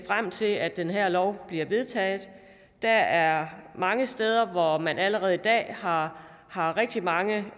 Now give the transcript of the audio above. frem til at den her lov bliver vedtaget der er mange steder hvor man allerede i dag har har rigtig mange